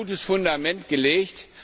Wir haben ein gutes Fundament gelegt.